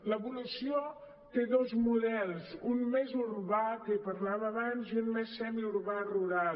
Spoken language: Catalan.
l’evolució té dos models un de més urbà de què parlava abans i un de més semiurbà rural